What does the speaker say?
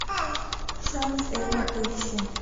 шанс эммы поищи